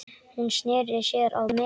Hún sneri sér að mér.